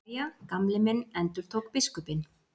Jæja, Gamli minn endurtók biskupinn.